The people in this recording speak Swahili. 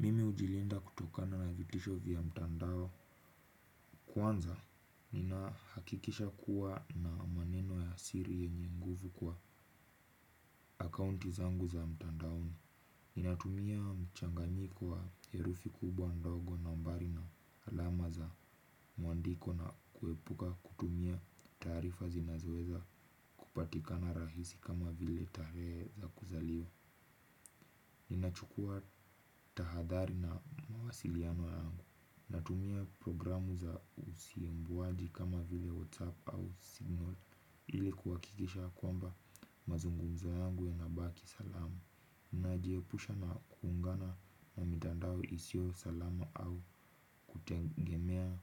Mimi hujilinda kutokana na vitisho vya mtandao. Kwanza, nina hakikisha kuwa na maneno ya siri yenye nguvu kwa akaunti zangu za mtandaoni ninatumia mchanganyiko wa herufi kubwa ndogo nambari na alama za muandiko na kuepuka kutumia taarifa zinazoeza kupatikana rahisi kama vile tarehe za kuzaliwa ninachukua tahadhari na mawasiliano yangu natumia programu za usimbuwaji kama vile Whatsapp au Signal ili kuhakikisha kwamba mazungumzo yangu yanabaki salama. Nijiepusha na kuungana na mitandao isiyo salama au kutegemea